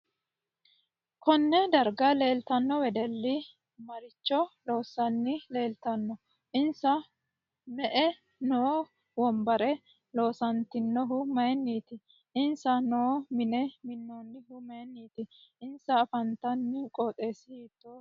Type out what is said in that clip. Konne darga leeltanno wedelli maricho loosanni leeltaano insa mue noo wonbare loosantinohu mayiiniti insa noo mine minoonihu mayiiniti insa afantanno qoxeesi hiitooho